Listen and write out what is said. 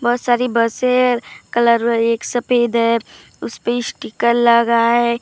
बहोत सारी बसे कलर हुआ एक सफेद है उसपे स्टीकर लगा है।